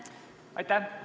Aitäh!